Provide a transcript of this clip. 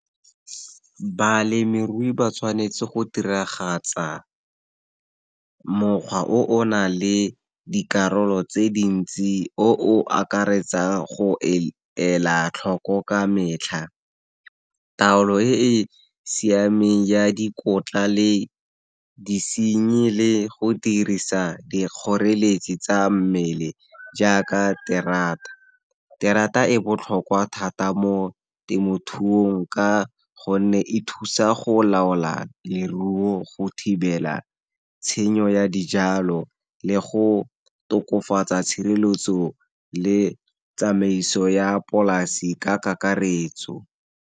Balemirui ba tshwanetse go diragatsa mokgwa o o na le dikarolo tse dintsi, o o akaretsang go ela tlhoko ka metlha, taolo e e siameng ya dikotla le disenyi, le go dirisa dikgoreletsi tsa mmele, jaaka terata. Terata e botlhokwa thata mo temothuong, ka gonne e thusa go laola leruo, go thibela tshenyo ya dijalo, le go tokafatsa tshireletso le tsamaiso ya polasi ka karetso.